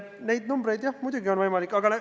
Neid numbreid, jah, muidugi on võimalik esitada.